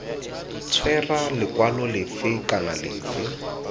tshwera lekwalo lefe kana lefe